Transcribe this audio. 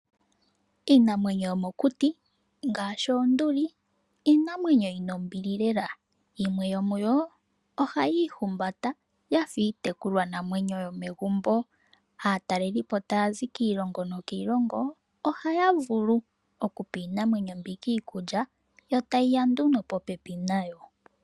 Iinamwenyo yomokuti ngaashi oonduli, iinamwenyo yina ombili lela, yimwe yomuyo ohayi ihumbata yafa iitekulwa namwenyo yomegumbo. Aatalelipo taya zi kiilongo nokiilongo ohaya vulu okupa iinamwenyo mbika iikulya yo tayiya nduno popepi nayo.